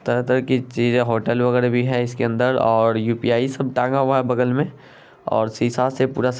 --तरह- तरह की चीजें होटल वगैरा भी है इसमें। और यू_पी_आय सब टंगा हुआ है बगल में और शीशा से पूरा--